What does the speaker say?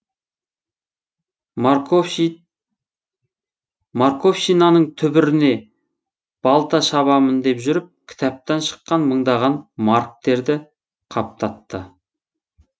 марковщинаның түбіріне балта шабамын деп жүріп кітаптан шыққан мыңдаған марктерді қаптатты